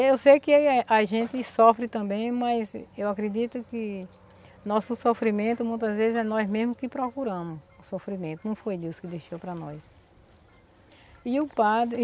Eu sei que ele é a gente sofre também, mas eu acredito que nosso sofrimento muitas vezes é nós mesmos que procuramos o sofrimento, não foi Deus que deixou para nós. E o padre